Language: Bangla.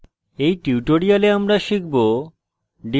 in tutorial আমরা শিখব